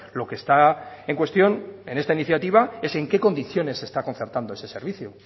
lo que está en cuestión en esta iniciativa es en qué condiciones se está concertando ese servicio